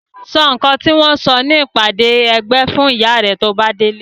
Sọ nǹkan tí wọ́n sọ ní ìpàdé ẹgbẹ́ fún ìyá rẹ tí o bá délé.